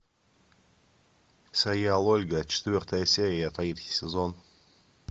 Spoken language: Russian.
сериал ольга четвертая серия третий сезон